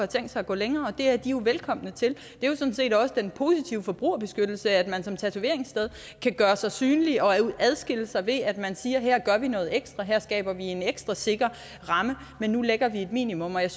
tænkt sig at gå længere og det er de jo velkomne til det er jo sådan set også den positive forbrugerbeskyttelse at man som tatoveringssted kan gøre sig synlig og adskille sig ved at man siger at her gør man noget ekstra her skaber man en ekstra sikker ramme men nu lægger vi et minimum og jeg